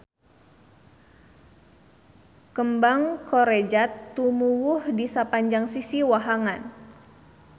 Kembang korejat tumuwuh di sapanjang sisi wahangan